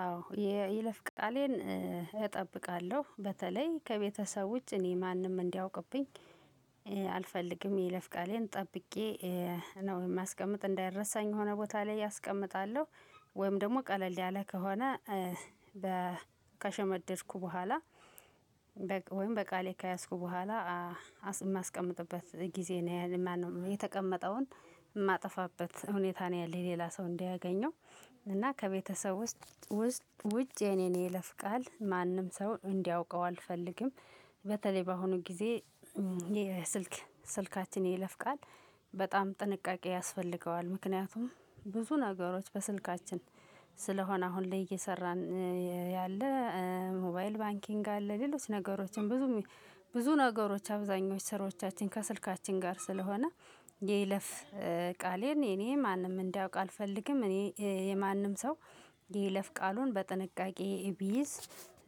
አዎ የይለፍ ቃሌን እጠብቃለሁ በተለይ ከቤተሰብ ውጭ እኔ ማንም እንዲያውቅብኝ አልፈልግም። የይለፍ ቃሌን ጠብቄ ነው የማስቀምጥ እንዳይረሳኝ የሆነ ቦታ ላይ አስቀምጣለሁ። ወይም ደግሞ ቀለል ያለ ከሆነ በ ከሸመደድኩ በኋላ። በቅ ወይም በቃሌ ከያዝኩ በኋላ አስ እማስቀምጥበት ጊዜ ነው ያለ ማነው የተቀመጠውን እማጠፋበት ሁኔታ ነው ያለኝ ሌላ ሰው እንዳያገኘው። እና ከቤተሰብ ውስጥ ውስጥ ውጭ የኔን የይለፍ ቃል ማንም ሰው እንዲያውቀው አልፈልግም። በተለይ በአሁኑ ጊዜ የስልክ ስልካችን የይለፍ ቃል በጣም ጥንቃቄ ያስፈልገዋል። ምክንያቱም ብዙ ነገሮች በስልካችን ስለሆነ አሁን ላይ እየሰራን ያለ ሞባይል ባንኪንግ አለ ሌሎች ነገሮችም ብዙም ብዙ ነገሮች አብዛኞች ስራዎቻችን ከስልካችን ጋር ስለሆነ። የይለፍ ቃሌን የኔ ማንም እንዲያውቅ አልፈልግም። እኔ የማንም ሰው የይለፍ ቃሉን በጥንቃቄ ቢይዝ